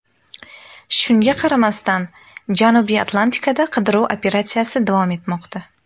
Shunga qaramasdan, Janubiy Atlantikada qidiruv operatsiyasi davom etmoqda.